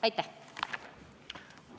Aitäh!